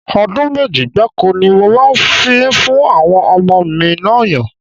Ọdún méjì gbáko ni mo máa fi ń fún àwọn ọmọ mi ọyàn